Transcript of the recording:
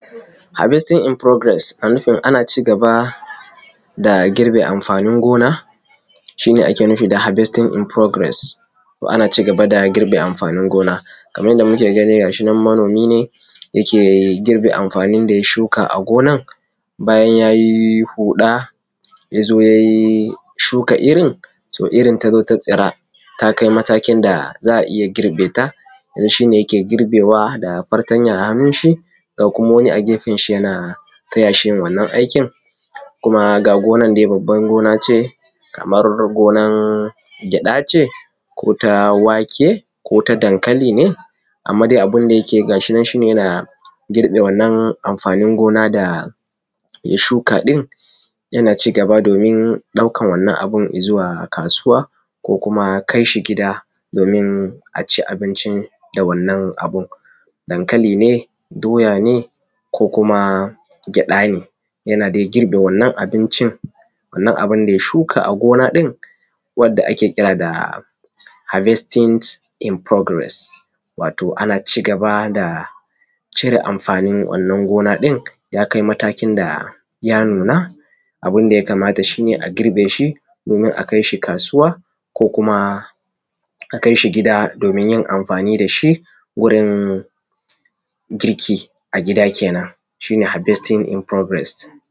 habestin in furogires shine ana cigaba da girbe amfanin gona shine ake nufi da habestin in furogires to ana cigaba da girbe amfanin gona Kaman yanda ga shinan manomi ne yake girbe amfanin gonan da ya shuka a gonan bayan yayi huda yazo ya shuka irrin to irrin tazo ta tsira takai matakin da za’a iyya girbeta yanzu shine yake girbewa fatanya a hannun shi ga kuma wani a gefenshi yana tayashi yin wannan aikin kuma ga gonar dai babban gona ce amma kuma ko gonar gyada ce ko ta wake kota dankali ce amma dai abunda yake yi gashinan shine yana girbe wannan amfanin gona daya shuka din domin daukan abun Izuwa kasuwa ko kuma kaishi gida domin aci abinci da wannan abun dankali ne doya ne ko kuma gyada ne yana dai girbe abincin wannan bunda shuka a gona wanda ake kira da habestin in furogures to ana cigaba da cire amfanin wannan gona din yakai matakin da ya nuna abunda ya kamata shine a girbe shi ko kuma kaishi kasuwa ko kuma akai gida ayi amfani dashi wurin girki a gida kenan shine habestin in furo kenan